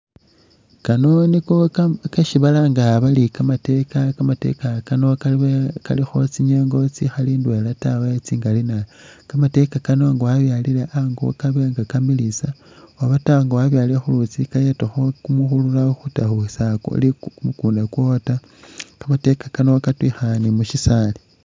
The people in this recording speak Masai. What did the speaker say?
Kano niko keesi balanga bari kamateeka, kamateeka kano kalikho tsinyengo tsikhali indwela tawe tsingaali nabi , kamateeka kano nga wabyalile ango kaba nga kamilisa oba taa nga wabyalile khulutsi kayetakho kumukhurura kukunda kwowo taa, kamateeka kano katwiyikhana ni mubisali.